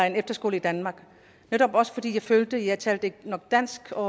en efterskole i danmark netop også fordi jeg følte at jeg ikke talte nok dansk og